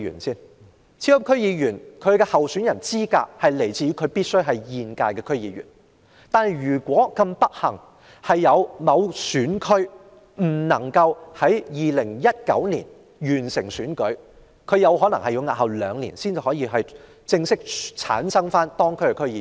超級區議員的候選資格是候選人必須是現屆區議員。若某選區不幸地未能在2019年完成區議會選舉，該選區便有可能要押後兩年才可選出區議員。